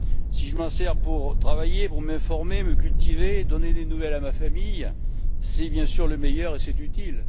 Si je m'en sers pour travailler, m'informer, me cultiver ou donner des nouvelles à ma famille, c'est bien sûr le meilleur, et c'est utile.